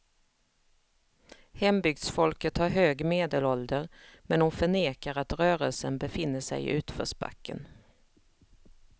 Hembygdsfolket har hög medelålder, men hon förnekar att rörelsen befinner sig i utförsbacken.